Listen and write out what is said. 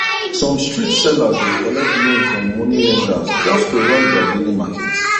some street sellers dey collect loan from money lenders just to run their daily market